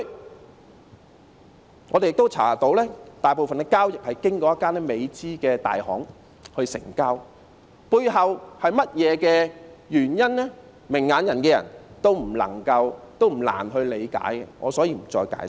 根據我們的調查，大部分的交易是經過一間美資的大行成交，背後是甚麼原因，明眼人不難理解，所以我不再解釋。